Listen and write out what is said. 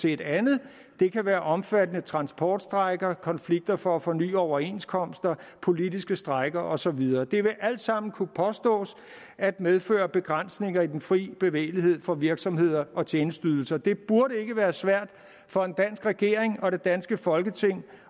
et andet det kan være omfattende transportstrejker konflikter for at forny overenskomster politiske strejker og så videre det vil alt sammen kunne påstås at medføre begrænsninger i den fri bevægelighed for virksomheder og tjenesteydelser det burde ikke være svært for en dansk regering og det danske folketing